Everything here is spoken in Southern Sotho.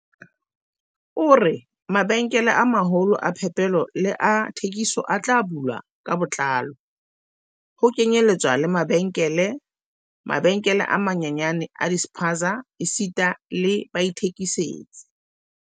O re, "Mabenkele a maholo a phepelo le a thekiso a tla bulwa ka botlalo, ho kenyeletswa le mabenkele, mabenkele a manyenyane a di-spaza esita le baithekisetsi."